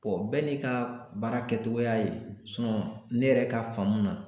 bɛɛ n'i ka baara kɛcogoya ye ne yɛrɛ ka faamu na